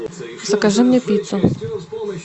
закажи мне пиццу